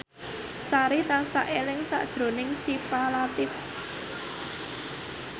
Sari tansah eling sakjroning Syifa Latief